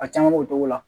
A caman b'o cogo la